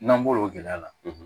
N'an bɔr'o gɛlɛya la